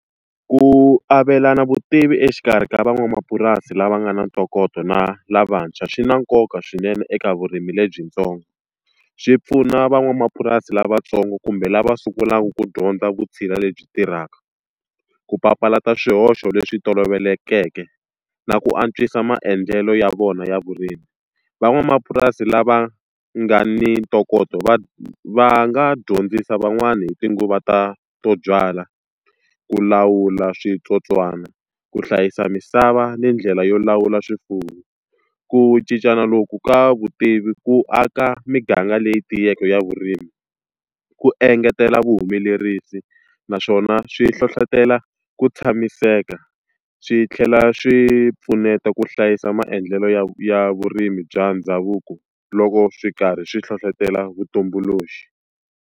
Ku avelana vutivi exikarhi ka van'wamapurasi lava nga na ntokoto na lavantshwa swi na nkoka swinene eka vurimi lebyintsongo. Swi pfuna van'wamapurasi lavatsongo kumbe lava sungulaka ku dyondza vutshila lebyi tirhaka, ku papalata swihoxo leswi tolovelekeke, na ku antswisa maendlelo ya vona ya vurimi. Van'wamapurasi lava nga ni ntokoto va va nga dyondzisa van'wani hi tinguva ta to byala, ku lawula switsotswana, ku hlayisa misava, ni ndlela yo lawula swifuwo. Ku cincana loku ka vutivi ku aka miganga leyi tiyeke ya vurimi, ku engetela vuhumelerisi naswona swi hlohletelo ku tshamiseka, swi tlhela swi pfuneta ku hlayisa maendlelo ya ya vurimi bya ndhavuko loko swi karhi swi hlohletelo vutumbuluxi.